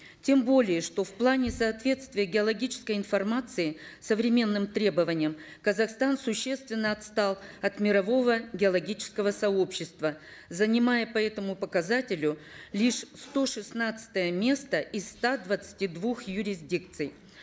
тем более что в плане соответствия геологической информации современным требованиям казахстан существенно отстал от мирового геологического сообщества занимая по этому показателю лишь сто шестнадцатое место из ста двадцати двух юрисдикций